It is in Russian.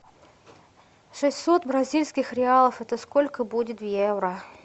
шестьсот бразильских реалов это сколько будет в евро